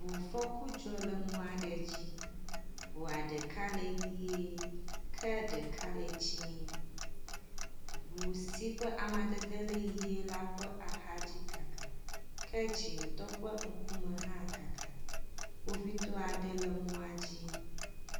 Ŋufɔku dzɔ le mɔa le dzi, ŋua ɖeka le ʋɛ̃e, ke ɖeka le dzɛ̃.Ŋu si ke amadede le ʋɛ̃ la ƒe axadzi kaka, ke dzɛ̃tɔ ƒe ŋkume hã kaka. Kpovitɔ aɖe le mɔa dzi.